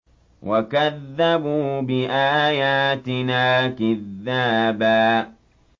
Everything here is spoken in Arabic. وَكَذَّبُوا بِآيَاتِنَا كِذَّابًا